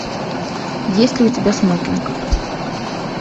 есть ли у тебя смокинг